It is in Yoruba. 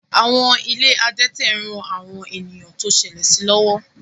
Àwọn ilé adẹ́tẹ̀ ń ran àwọn ènìyàn tó ṣẹlẹ̀ sí lọ́wọ́